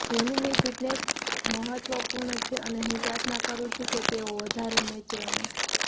ધોનીની fitness મહત્વપૂર્ણ છે અને હું પ્રાર્થના કરુ છું કે તેઓ વધારે મેચ રમે